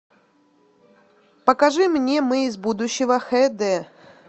покажи мне мы из будущего хд